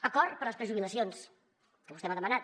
acord per a les prejubilacions que vostè m’ho ha demanat